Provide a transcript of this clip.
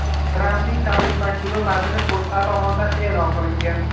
Trampning tabrik maktubi matni O‘zA tomonidan e’lon qilingan .